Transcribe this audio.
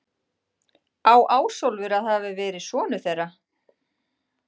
Á Ásólfur að hafa verið sonur þeirra.